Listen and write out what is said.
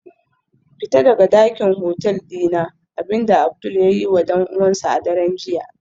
Fita daga dakin hotel dina, abinda Abdul ya yiwa dan uwansa a daren jiya